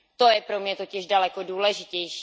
To je pro mě totiž daleko důležitější.